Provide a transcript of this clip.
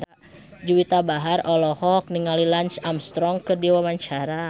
Juwita Bahar olohok ningali Lance Armstrong keur diwawancara